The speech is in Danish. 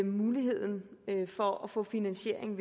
muligheden for at få finansiering